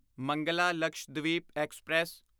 Mangala Lakshadweep express